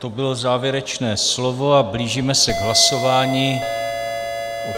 To bylo závěrečné slovo a blížíme se k hlasování.